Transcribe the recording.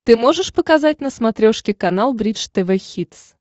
ты можешь показать на смотрешке канал бридж тв хитс